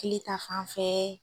Kili ta fanfɛ.